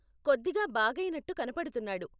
కొద్దిగా బాగయినట్టు కనపడుతున్నాడు.